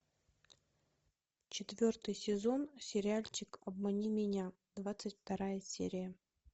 четвертый сезон сериальчик обмани меня двадцать вторая серия